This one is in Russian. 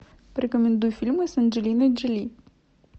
порекомендуй фильмы с анджелиной джоли